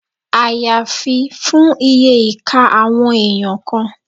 Àyàfi fún iye ìka àwọn èèyàn kan